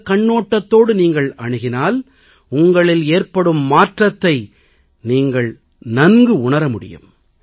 இந்தக் கண்ணோட்டத்தோடு நீங்கள் அணுகினால் உங்களில் ஏற்படும் மாற்றத்தை நீங்கள் நன்குணர முடியும்